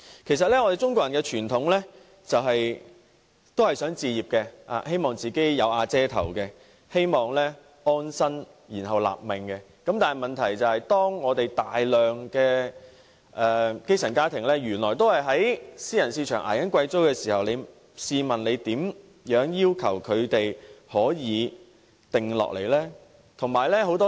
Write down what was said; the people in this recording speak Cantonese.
我們中國人的傳統思想，都是一心想置業，希望"有瓦遮頭"，有一個可以安身立命之所，但當大量基層家庭仍在私人市場捱貴租時，試問又如何要求他們安定下來？